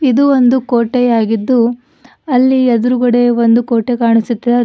ಇದು ಒಂದು ಕೋಟೆಯಾಗಿದ್ದು ಅಲ್ಲಿ ಎದ್ರುಗಡೆ ಒಂದು ಕೋಟೆ ಕಾಣಿಸುತ್ತೆ ಆದ್--